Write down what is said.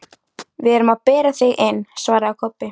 Við erum að bera þig inn, svaraði Kobbi.